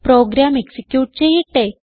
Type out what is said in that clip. programme execute ചെയ്യട്ടെ